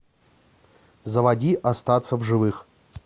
заводи остаться в живых